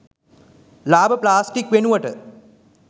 ලාබ plastic වෙනුවට